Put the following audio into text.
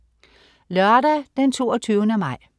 Lørdag den 22. maj